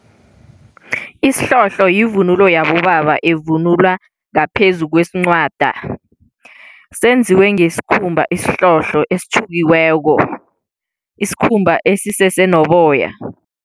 Isihlohlo yivunulo yabobaba evunulwa ngaphezu kwesincwada. Senziwe ngesikhumba esihlohlo esitjhukiweko, isikhumba esisese noboya.